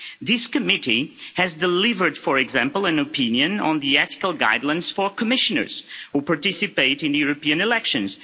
This committee has delivered, for example, an opinion on the ethical guidelines for Commissioners who participate in the European elections.